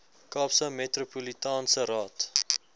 kaapse metropolitaanse raad